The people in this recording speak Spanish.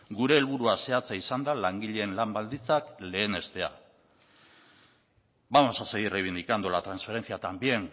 gure helburua zehatza izan da langileen lan baldintzak lehenestea vamos a seguir reivindicando la transferencia también